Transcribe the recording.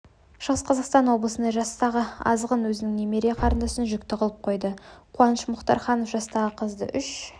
шығыс қазақстан облысында жастағы азғын өзінің немере қарындасын жүкті қылып қойды қуаныш мұхтарханов жастағы қызды үш